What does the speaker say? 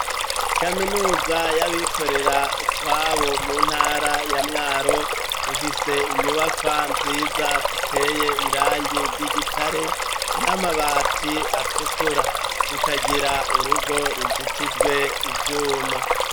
Kaminuza y'abikorera utwabo mu ntara ya mwaro imfise inyubakwa nziza ziteye irangi ry'igitare n'amabati atukura zikagira urugo ruzitijwe ivyuma.